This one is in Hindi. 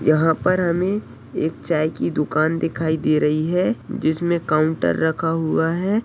यहा पर हमे एक चाय की दुकान दिखाई दे रही है जिसमे काउन्टर रखा हुआ है।